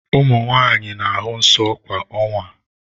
Ụmụ nwanyị na-ahụ nsọ kwa ọnwa.